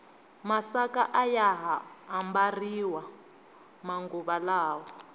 masaka ayaha ambariwa manguva lawa